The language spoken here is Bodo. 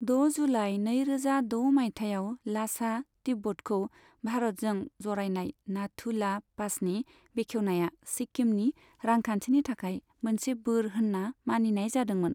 द' जुलाइ नैरोजा द' मायथायाव लासा, तिब्बतखौ भारतजों जरायनाय नाथु ला पासनि बेखेवनाया सिक्किमनि रांखान्थिनि थाखाय मोनसे बोर होनना मानिनाय जादोंमोन।